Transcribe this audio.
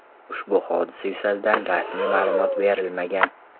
Ushbu hodisa yuzasidan rasmiy ma’lumot berilmagan.